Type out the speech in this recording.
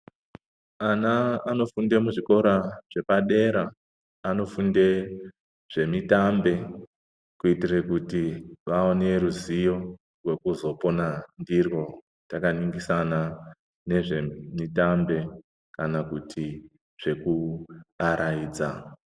Ana anofunde mu zvikora zvepa dera anofunde zve mitambe kuitire kuti vaone ruzivo rwekuzo pona ndiryo taka ningisana nezve mitambe kana kuti zveku araidza.